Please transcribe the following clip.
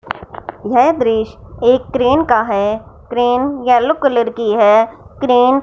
यह दृश्य एक क्रेन का हैं क्रेन येलो कलर की हैं क्रेन --